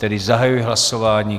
Tedy zahajuji hlasování.